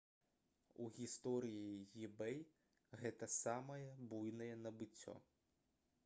у гісторыі ebay гэта самае буйное набыццё